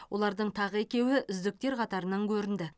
олардың тағы екеуі үздіктер қатарынан көрінді